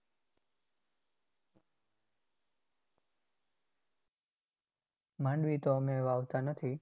માંડવી તો અમે વાવતાં નથી.